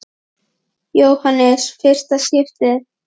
Jóhannes: Fyrsta skipti?